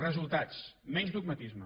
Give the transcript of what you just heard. resultats menys dogmatisme